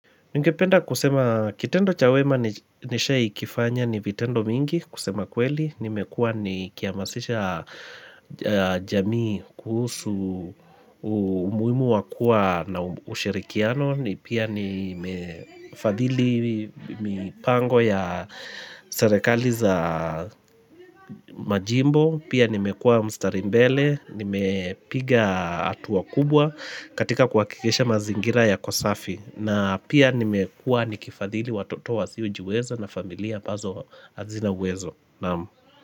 Ningependa kusema kitendo cha wema nishai kifanya ni vitendo mingi kusema kweli, nimekua nihkihamasisha jamii kuhusu umuhimu wa kua na ushirikiano, ni pia nimefadhili mipango ya serekali za majimbo, pia nimekua mstari mbele, nimepiga hatua kubwa katika kuhakikisha mazingira yako safi, na pia nimekua nikifadhili watoto wasiojiweza na familia ambazo hazina uwezo Naamu.